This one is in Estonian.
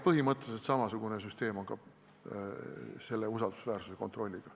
Põhimõtteliselt samasugune süsteem on ka selle usaldusväärsuse kontrolli puhul.